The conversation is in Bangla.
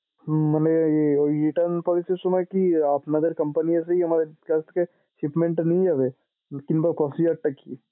মানে ঐ return policy র সময় কি আপনাদের company র কাছ থেকে shipment টা নিয়ে যাবে কিংবা procedure টা কী?